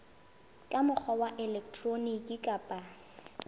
ka mokgwa wa elektroniki kapa